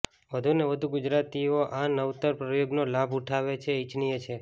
વધુ ને વધુ ગુજરાતીઓ આ નવતર પ્રયોગનો લાભ ઉઠાવે એ ઇચ્છનીય છે